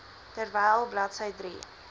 terwyl bladsy drie